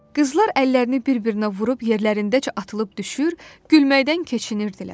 Qızlar əllərini bir-birinə vurub yerlərindəcə atılıb düşür, gülməkdən keçinirdilər.